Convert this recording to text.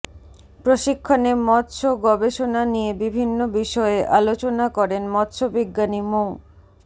প্রশিক্ষণে মৎস্য গবেষণা নিয়ে বিভিন্ন বিষয়ে আলোচনা করেন মৎস্যবিজ্ঞানী মো